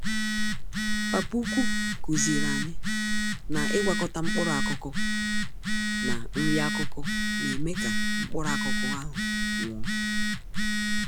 Papa ukwu kuziri anyị na ịgwakọta mkpụrụ-akụkụ na nri-akụkụ, némè' ka mkpụrụ-akụkụ ahụ nwụọ.